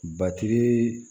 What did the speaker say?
Batiri